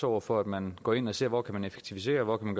over for at man går ind og ser på hvor man kan effektivisere og hvor man